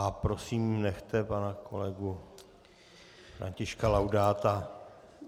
A prosím, nechte pana kolegu Františka Laudáta...